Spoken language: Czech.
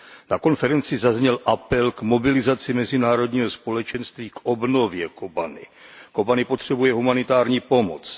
Na konferenci zazněl apel k mobilizaci mezinárodního společenství k obnově Kobani. Kobani potřebuje humanitární pomoc.